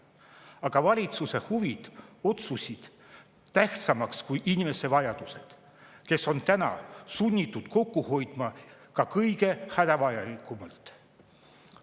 Aga valitsuse huvid osutusid tähtsamaks kui inimeste vajadused, kes on täna sunnitud kokku hoidma ka kõige hädavajalikuma pealt.